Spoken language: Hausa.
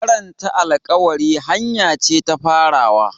Karanta alƙawari hanya ce ta farawa.